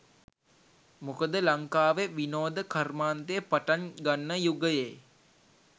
මොකද ලංකාවෙ විනෝද කර්මාන්තය පටන් ගන්න යුගයේ.